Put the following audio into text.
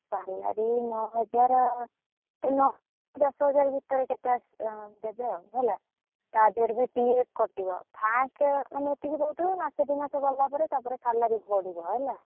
Salary ନଅ ହଜାର, ସେଇ ନଅ ଦଶ ହଜାର ଭିତରେ, କେତେଆସିବ ଦେବେ ଆଉ, ହେଲା, ତାଦେରେ ବି PF କଟିବ first ମାନେ ଏତିକ ଦଉଥିବେ ତାପରେ ମାସେ ଦି ମାସେ ଗଲା ପରେ ବଡିବ ହେଲା।